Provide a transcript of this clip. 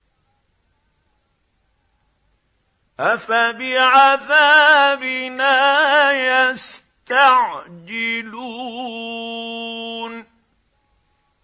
أَفَبِعَذَابِنَا يَسْتَعْجِلُونَ